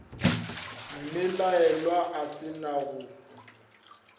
mmelaelwa a se na go